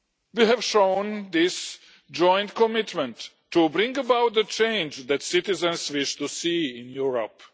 We have shown this joint commitment to bring about the change that citizens wish to see in Europe.